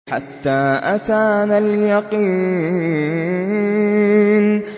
حَتَّىٰ أَتَانَا الْيَقِينُ